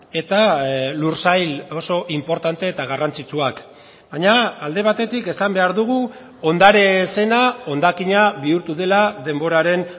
eta lursail oso inportante eta garrantzitsuak baina alde batetik esan behar dugu ondare zena hondakina bihurtu dela denboraren